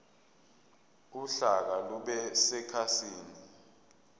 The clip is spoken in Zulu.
uhlaka lube sekhasini